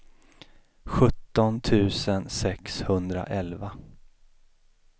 sjutton tusen sexhundraelva